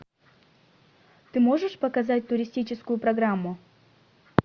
ты можешь показать туристическую программу